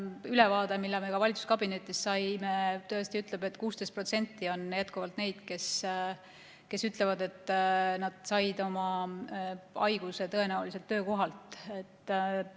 Viimane ülevaade, mille me ka valitsuskabinetis saime, tõesti ütleb, et 16% on jätkuvalt neid, kes ütlevad, et nad said oma haiguse tõenäoliselt töökohalt.